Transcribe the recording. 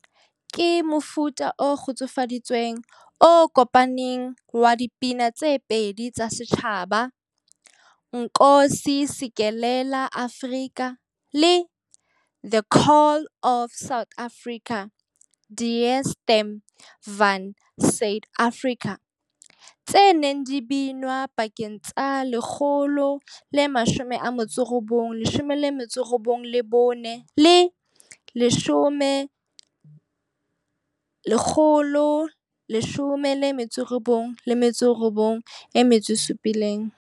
Ke mofuta o kgutsufaditsweng, o kopaneng wa dipina tse pedi tsa setjhaba, 'Nkosi Sikelel' iAfrika' le 'The Call of South Africa','Die Stem van Suid-Afrika', tse neng di binwa pakeng tsa 1994 le 1997.